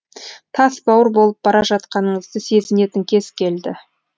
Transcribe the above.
тас бауыр болып бара жатқаныңызды сезінетін кез келді